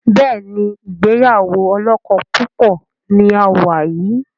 Béèni ìgbéyàwó olókó púpò ní a wá yí.